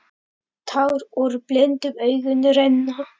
Tár úr blindum augum renna.